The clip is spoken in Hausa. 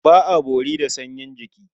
Ba a bori da sanyin jiki.